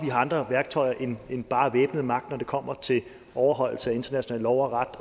har andre værktøjer end bare væbnet magt når det kommer til overholdelse af international lov og ret